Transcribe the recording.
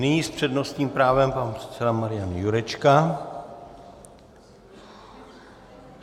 Nyní s přednostním právem pan předseda Marian Jurečka.